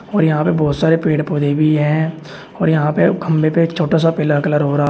और यहां पे बहुत सारे पेड़ पौधे भी हैं और यहां पे खंभे पे छोटा सा पीला कलर हो रहा--